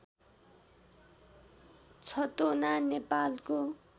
छतोना नेपालको